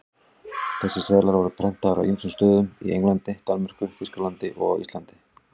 Þessir seðlar voru prentaðir á ýmsum stöðum, í Englandi, Danmörku, Þýskalandi og á Íslandi.